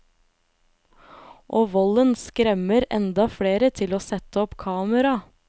Og volden skremmer enda flere til å sette opp kamera.